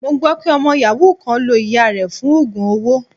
Mo gbọ́ pé ọmọ yàhú kan lo ìyáa rẹ̀ fún oogun owó.